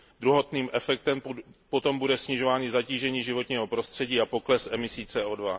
Druhotným efektem potom bude snižování zatížení životního prostředí a pokles emisí CO